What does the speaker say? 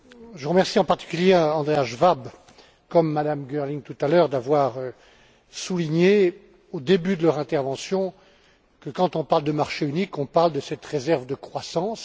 Je remercie en particulier Andreas Schwab, comme Mme Girling tout à l'heure, d'avoir souligné, au début de son intervention, que, quand on parle de marché unique, on parle de cette réserve de croissance.